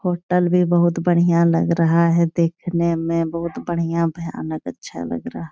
Hotel भी बहुत बढियाँ लग रहा है देखने में। बहुत बढियाँ भयानक अच्छा लग रहा --